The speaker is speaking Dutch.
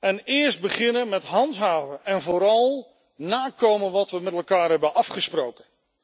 En eerst beginnen met handhaven en vooral nakomen van wat we met elkaar hebben afgesproken.